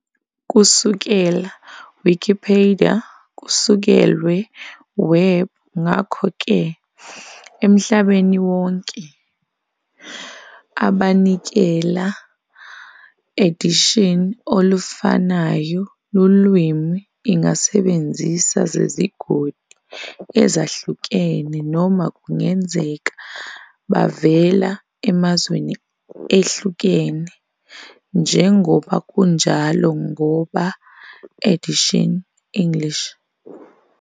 Kusukela Wikipedia kusekelwe Web ngakhoke emhlabeni wonke, abanikela a edition olufanayo lulwimi ingasebenzisa zezigodi ezahlukene noma kungenzeka bavela emazweni ehlukene, njengoba kunjalo ngoba edition English.